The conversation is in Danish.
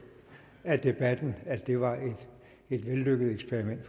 af debatten at det var et vellykket eksperiment